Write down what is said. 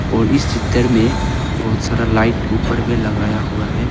और इस चित्तर में बहुत सारा लाइट ऊपर में लगाया हुआ है।